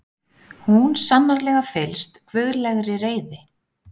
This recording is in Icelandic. Hún sannarlega fyllst guðlegri reiði.